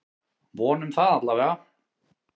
Vonum það allavega!